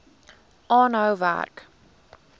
aanhou werk